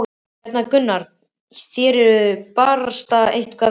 Hérna Gunnar, þér eruð barasta eitthvað verri!